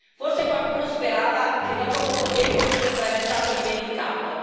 Forse qualcuno sperava che dopo poco tempo tutto sarebbe stato dimenticato.